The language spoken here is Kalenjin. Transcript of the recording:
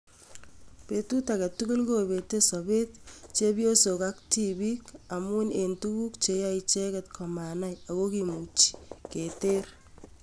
Petut agetugul kopete sopeet chepyosok ak tipiik amun en tuguk cheyoe icheget komanach ako kimuchi keteer